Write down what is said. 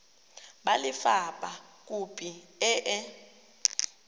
ba lefapha khopi e e